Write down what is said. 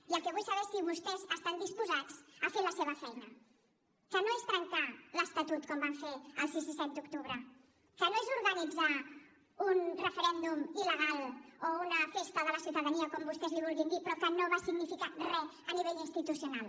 i el que vull saber és si vostès estan disposats a fer la seva feina que no és trencar l’estatut com van fer el sis i set de setembre que no és organitzar un referèndum il·legal o una festa de la ciutadania o com vostès li vulguin dir però que no va significar re a nivell institucional